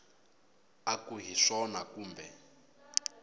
u ku hi swona kumbe